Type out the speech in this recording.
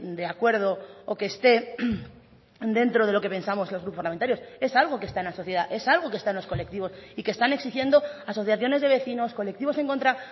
de acuerdo o que esté dentro de lo que pensamos los grupos parlamentarios es algo que está en la sociedad es algo que está en los colectivos y que están exigiendo asociaciones de vecinos colectivos en contra